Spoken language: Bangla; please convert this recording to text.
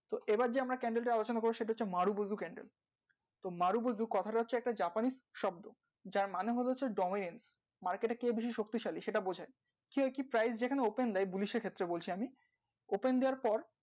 এবার যে আমরা candle, origin, marubozu, candle marubozu কথাটি একটা Japanese শব্দ যার মানে হল dominating, market টা শক্তিশালী সেটা বোঝা যাই prime